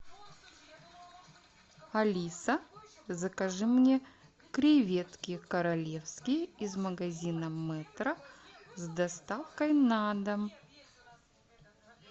алиса закажи мне креветки королевские из магазина метро с доставкой на дом